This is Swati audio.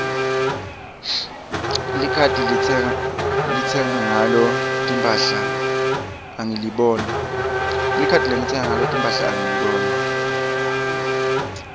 likhadi lengitsenga ngalo timphahla angiliboni